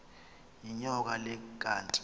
yinyoka le kanti